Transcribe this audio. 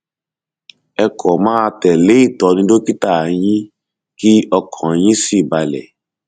ẹ kàn máa tẹlé ìtọni dókítà yín kí ọkàn yín sì balẹ